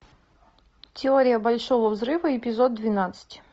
теория большого взрыва эпизод двенадцать